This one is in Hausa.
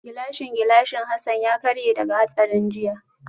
Gilashin gilashin Hassan ya karye daga hatsarin jiya